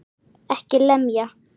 EKKI LEMJA!